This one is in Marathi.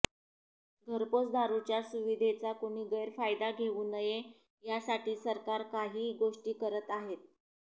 घरपोच दारुच्या सुविधेचा कुणी गैरफायदा घेऊ नये यासाठी सरकार काही गोष्टी करत आहे